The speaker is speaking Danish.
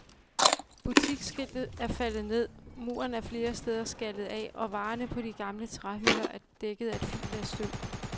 Butiksskiltet er faldet ned, muren er flere steder skallet af, og varerne på de gamle træhylder er dækket af et fint lag støv.